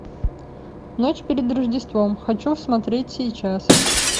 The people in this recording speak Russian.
ночь перед рождеством хочу смотреть сейчас